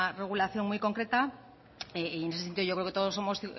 regulación muy concreta y en ese sentido yo creo que todos somos